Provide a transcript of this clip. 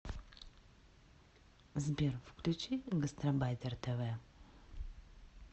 сбер включи гастарбайтера тэ вэ